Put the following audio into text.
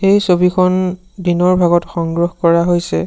এই ছবিখন দিনৰ ভাগত সংগ্ৰহ কৰা হৈছে।